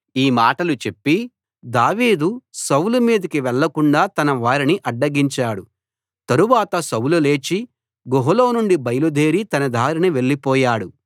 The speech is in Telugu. ఈ మాటలు చెప్పి దావీదు సౌలు మీదికి వెళ్ళకుండా తన వారిని అడ్డగించాడు తరువాత సౌలు లేచి గుహలో నుండి బయలుదేరి తన దారిన వెళ్ళిపోయాడు